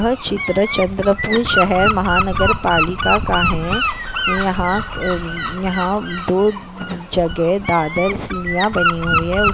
यह चित्र चंद्रपुर शहर महानगर पालिका का है यहा अ-यहा दो ज-जगह दादर सिडिया बनी हुई है। ऊस --